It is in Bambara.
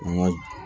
N ka